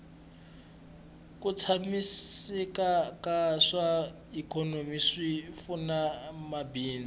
ku tshamiseka ka swa ikhonomi swi pfuna mabindzu